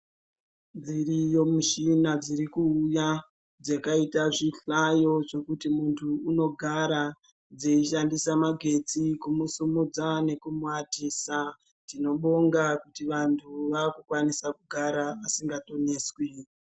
Dziriyo mishina dzirikuuya dzakaita zvihlayo zvekuti muntu unogara dzeishandise magetsi kumusimudza nekumuatisa tinobonga kuti anhu akukwanise kugara asingatoneswi.